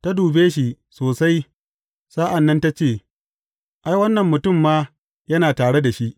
Ta dube shi sosai sa’an nan, ta ce, Ai, wannan mutum ma yana tare da shi.